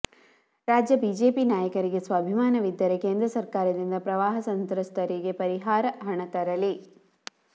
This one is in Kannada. ರಾಜ್ಯ ಬಿಜೆಪಿ ನಾಯಕರಿಗೆ ಸ್ವಾಭಿಮಾನವಿದ್ದರೆ ಕೇಂದ್ರ ಸರ್ಕಾರದಿಂದ ಪ್ರವಾಹ ಸಂತ್ರಸ್ತರಿಗೆ ಪರಿಹಾರ ಹಣ ತರಲಿ